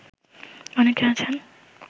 অনেকে আছেন